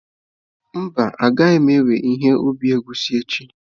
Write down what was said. Mba, m'gaghi-ewe ihe ubi egwusi echi.